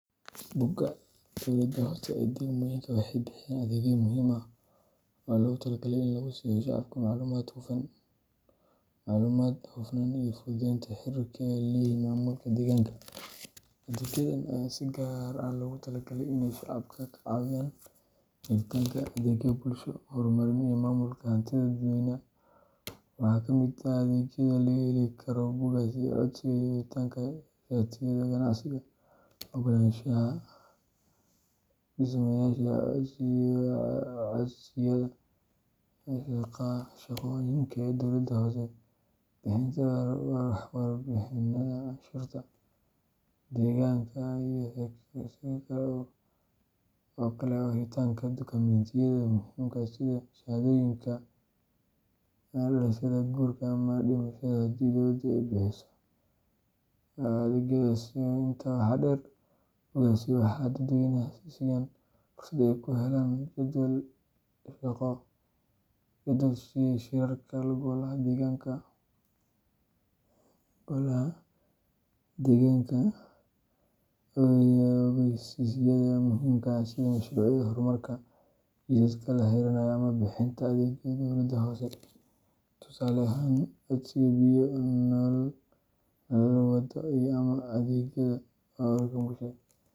Bogagga dowladaha hoose ee degmooyinka waxay bixiyaan adeegyo muhiim ah oo loogu talagalay in lagu siiyo shacabka macluumaad, hufnaan, iyo fududeynta xiriirka ay la leeyihiin maamulka deegaanka. Adeegyadan ayaa si gaar ah loogu talagalay in ay shacabka ka caawiyaan helitaanka adeegyo bulsho, horumarin, iyo maamulka hantida dadweynaha. Waxaa ka mid ah adeegyada laga heli karo bogaggaasi: codsiga iyo helitaanka shatiyada ganacsiga, ogolaanshaha dhismayaasha, codsiyada shaqooyinka dowladda hoose, bixinta warbixinnada canshuuraha deegaanka, iyo sidoo kale helitaanka dukumentiyada muhiimka ah sida shahaadooyinka dhalashada, guurka, ama dhimashada haddii dowladdu ay bixiso adeegyadaas. Intaa waxaa dheer, bogaggaasi waxay dadweynaha siiyaan fursad ay ku helaan jadwalka shirarka golaha deegaanka, ogaysiisyada muhiimka ah sida mashruucyada horumarka, jidadka la xirinayo, ama bixinta adeegyo cusub. Waxa kale oo laga helaa foomam kala duwan oo la buuxin karo si loo codsado adeegyada dowladda hoose, tusaale ahaan codsiga biyo, nalal waddo, ama adeegyada nadaafadda.